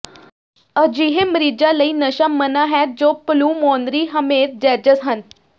ਅਜਿਹੇ ਮਰੀਜ਼ਾਂ ਲਈ ਨਸ਼ਾ ਮਨ੍ਹਾ ਹੈ ਜੋ ਪਲੂਮੋਨਰੀ ਹੈਮੇਰਜੈਜਸ ਹਨ